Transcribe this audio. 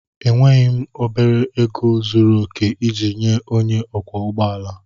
Enweghị m obere ego zuru oke iji nye onye ọkwọ ụgbọ ala.